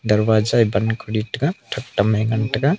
darvaza e ban Kori tega thaktam e ngan taiga.